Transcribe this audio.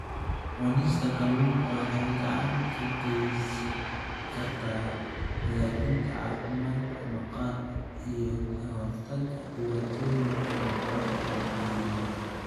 Cunista kalluunka waxay gacan ka geysan kartaa hagaajinta caafimaadka maqaarka iyo ka hortagga dhibaatooyinka maqaarka la xiriira.